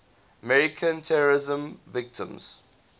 american terrorism victims